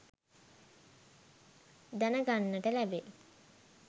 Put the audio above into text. දැනගන්නට ලැබේ